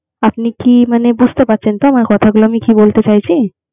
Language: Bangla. আপনি কি মানে বুঝতে পারছেন তো, আমার কথাগুলো কি বলতে চাইছি।